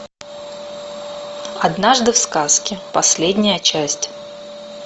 однажды в сказке последняя часть